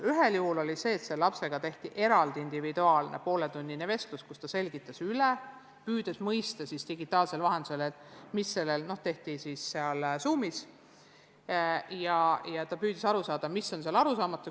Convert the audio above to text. Ühel juhul tehti selle lapsega tehti eraldi individuaalne pooletunnine vestlus – see toimus Zoomis –, mille käigus õpetaja selgitas teema üle ja püüdis aru saada, mis on lapsele arusaamatu.